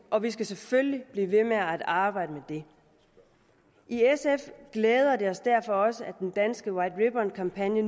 og vi skal selvfølgelig blive ved med at arbejde med det i sf glæder det os derfor også at den danske white ribbon kampagne